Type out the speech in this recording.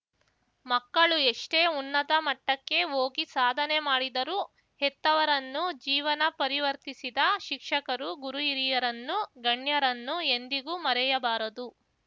ಮಕ್ಕಳು ಎಷ್ಟೇ ಉನ್ನತ ಮಟ್ಟಕ್ಕೆ ಹೋಗಿ ಸಾಧನೆ ಮಾಡಿದರೂ ಹೆತ್ತವರನ್ನು ಜೀವನ ಪರಿವರ್ತಿಸಿದ ಶಿಕ್ಷಕರು ಗುರುಹಿರಿಯರನ್ನು ಗಣ್ಯರನ್ನು ಎಂದಿಗೂ ಮರೆಯಬಾರದು